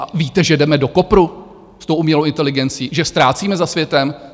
A víte, že jdeme do kopru s tou umělou inteligencí, že ztrácíme za světem?